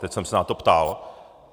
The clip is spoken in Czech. Teď jsem se na to ptal.